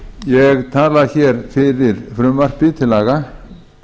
ég tala hér fyrir frumvarpi til